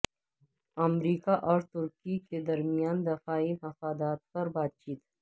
امریکہ اور ترکی کے درمیان دفاعی مفادات پر بات چیت